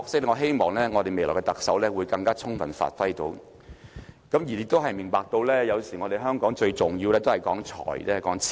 我希望未來特首會更充分發揮這個角色，亦希望他明白到，有時香港最重要的角色，都是說財、說錢。